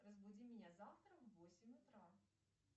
разбуди меня завтра в восемь утра